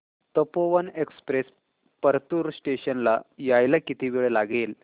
Tapovan express Partur station ला यायला किती वेळ लागेल